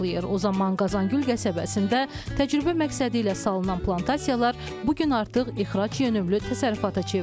O zaman Qazan gül qəsəbəsində təcrübə məqsədi ilə salınan plantasiyalar bu gün artıq ixrac yönümlü təsərrüfata çevrilib.